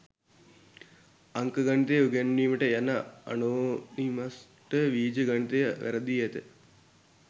අංක ගණිතය උගැන්වීමට යන ඇනෝනිමස්ට වීජ ගණිතය වැරදී ඇත